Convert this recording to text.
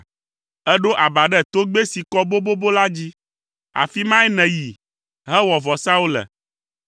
Èɖo aba ɖe togbɛ si kɔ bobobo la dzi. Afi mae nèyi hewɔ vɔsawo le.